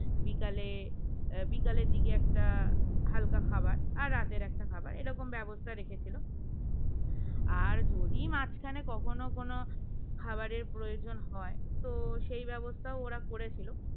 বিকালে আহ বিকালের দিকে একটা হালকা খাবার আর রাতের একটা খাবার এরকম ব্যবস্থা রেখেছিল আর যদি মাঝখানে কখনো কোন খাবারের প্রয়োজন হয় তো সেই ব্যবস্থা ওরা করেছিল